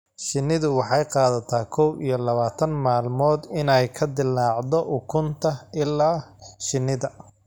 Shinnidu waxay qaadataa kow iyo labaatan maalmood inay ka dillaacdo ukunta ilaa shinnida.